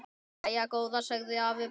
Jæja góða sagði afi bara.